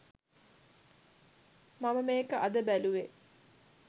මම මේක අද බැලුවේ.